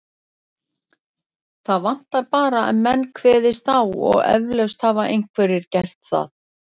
Það vantar bara að menn kveðist á og eflaust hafa einhverjir gert það.